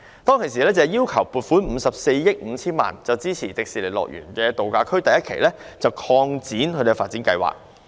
當時政府要求立法會撥款54億 5,000 萬元，支持樂園度假區第一期用地的擴建及發展計劃。